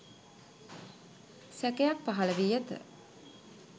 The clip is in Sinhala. සැකයක් පහළ වී ඇත